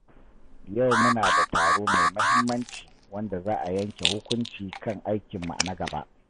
Yau muna da taro mai muhimmanci wanda za a yanke hukunci kan aikinmu na gaba.